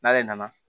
N'ale nana